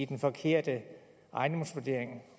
den forkerte ejendomsvurdering